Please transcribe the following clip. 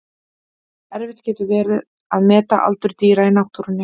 Erfitt getur verið að meta aldur dýra í náttúrunni.